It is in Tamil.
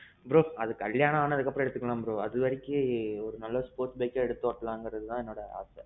bro. அது கல்யாணம் ஆனதுக்கு அப்பறோம் எடுத்துக்கலாம் bro. அது வரைக்கி ஒரு நல்லா sports bike எடுத்து ஓட்டலாம்னு தான் எனக்கு ஆசை.